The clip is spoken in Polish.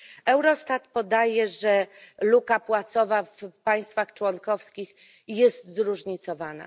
Eurostat podaje, że luka płacowa w państwach członkowskich jest zróżnicowana.